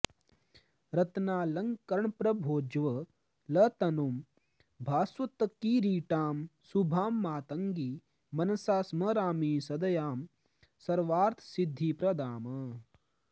रत्नालङ्करणप्रभोज्वलतनुं भास्वत्किरीटां शुभां मातङ्गीं मनसा स्मरामि सदयां सर्वार्थसिद्धिप्रदाम्